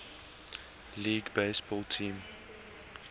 league baseball team